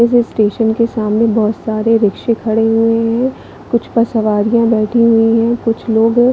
इस स्टेशन के सामने बहोत सारी रिकशे खड़े हुए है कुछ पर सवारिया बैठी हुई है कुछ लोगो--